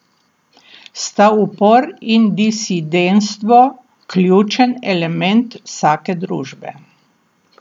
Sta upor in disidentstvo ključen element vsake družbe?